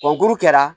O lu kɛra